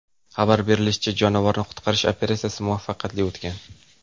Xabar berilishicha, jonivorni qutqarish operatsiyasi muvaffaqiyatli o‘tgan.